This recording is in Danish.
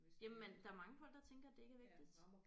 Jamen der er mange folk der tænker det ikke er vigtigt